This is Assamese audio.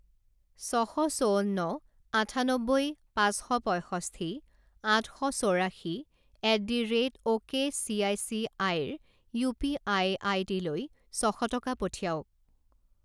ছশ চৌৱন্ন আঠান্নব্বৈ পাঁচ শ পঁইষষ্ঠি আঠশ চৌৰাশী at the rate ok C I C আইৰ ইউ পি আই আই ডিলৈ ছশ টকা পঠিৱাওক।